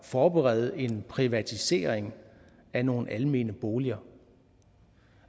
forberede en privatisering af nogle almene boliger